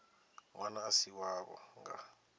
ṅwana a si wavho nga